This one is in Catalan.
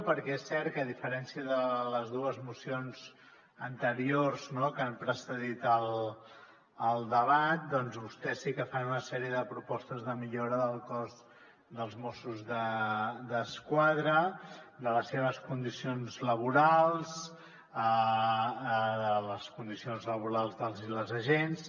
perquè és cert que a diferència de les dues mocions anteriors que han precedit el debat vostès sí que fan una sèrie de propostes de millora del cos de mossos d’esquadra de les seves condicions laborals de les condicions laborals dels i les agents